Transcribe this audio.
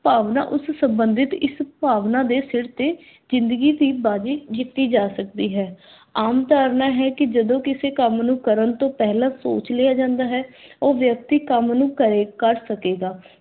ਭਾਵਨਾ ਉਸ ਸੰਬੰਧਿਤ ਇਸ ਭਾਵਨਾ ਦੇ ਸਰ ਤੇ ਜ਼ਿੰਦਗੀ ਦੀ ਬਾਜੀ ਜਿਤੀ ਜਾ ਸਕਦੀ ਹੈ। ਆਮ ਧਾਰਨਾ ਹੈ ਕੀ ਜਦੋਂ ਕਿਸੇ ਕੰਮ ਨੂੰ ਕਰਨ ਤੋਂ ਪਹਿਲਾਂ ਸੋਚ ਲਿਆ ਜਾਂਦਾ ਹੈ, ਉਹ ਵਿਅਕਤੀ ਕੰਮ ਨੂੰ ਕਰੇ ਕਰ ਸਕੇਗਾ।